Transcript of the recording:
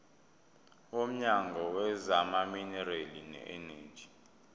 womnyango wezamaminerali neeneji